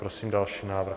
Prosím další návrh.